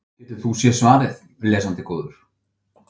Getur þú séð svarið, lesandi góður?